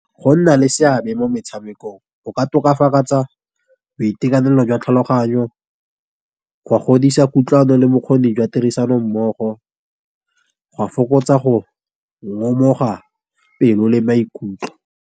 Go nna le seabe mo metshamekong, go ka tokafatsa boitekanelo jwa tlhaloganyo, go godisa kutlwano le bokgoni jwa tirisano mmogo, go a fokotsa go ngomoga pelo le maikutlo.